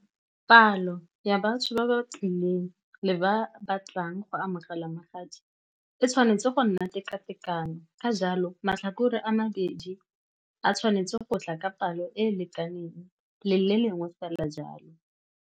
Palo ya batho ba ba tlileng le ba ba tlang go amogela magadi e tshwanetse go nna teka-tekano, ka jalo matlhakore a mabedi a tshwanetse go tla ka palo e e lekaneng, le le lengwe fela.